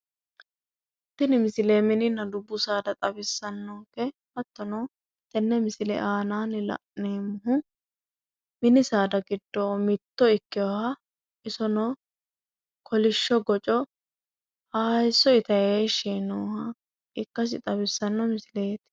tini misile minina dubbu saada xawisano hattono tenne misile aana la'neemmohu mini saada giddo mitto ikkinoha kolishsho gocco hayiisso itanni heeshshi yiinohaati.